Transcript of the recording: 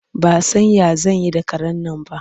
Ba san ya zan yi da karen nan ba.